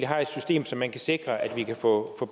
har et system så man kan sikre at vi kan få